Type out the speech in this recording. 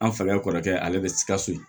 An falae kɔrɔkɛ ale bɛ sikaso